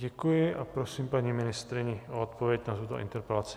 Děkuji a prosím paní ministryni o odpověď na tuto interpelaci.